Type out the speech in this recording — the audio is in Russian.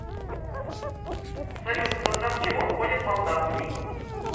салют в состав чего входит молдавский